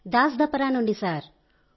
దాన్ దపరా నుండి సార్